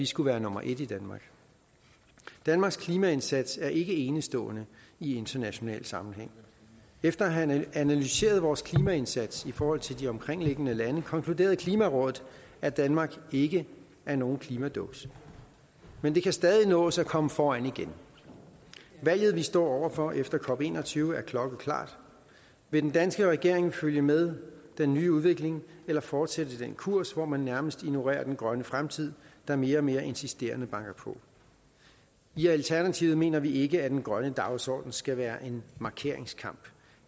skulle være nummer et danmarks klimaindsats er ikke enestående i international sammenhæng efter at have analyseret vores klimaindsats i forhold til de omkringliggende landes konkluderede klimarådet at danmark ikke er nogen klimaduks men det kan stadig nås at komme foran igen valget vi står over for efter cop21 er klokkeklart vil den danske regering følge med den nye udvikling eller fortsætte den kurs hvor man nærmest ignorerer den grønne fremtid der mere og mere insisterende banker på i alternativet mener vi ikke at den grønne dagsorden skal være en markeringskamp